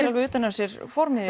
alveg utan af sér formið